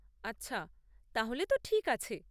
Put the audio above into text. আচ্ছা, তাহলে তো ঠিক আছে।